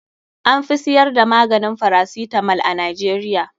An fi siyar da maganin farasitamol a Najeriya.